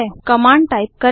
command type करें